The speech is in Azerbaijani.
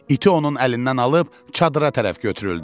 İti onun əlindən alıb çadıra tərəf götürüldü.